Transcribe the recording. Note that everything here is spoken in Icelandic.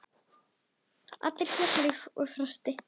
Fjalar og Frosti